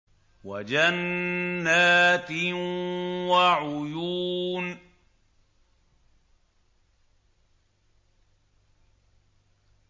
وَجَنَّاتٍ وَعُيُونٍ